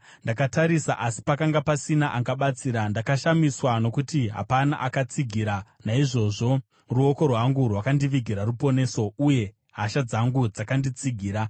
Ndakatarisa, asi pakanga pasina angabatsira, ndakashamiswa nokuti hapana akatsigira; naizvozvo ruoko rwangu rwakandivigira ruponeso, uye hasha dzangu dzakanditsigira.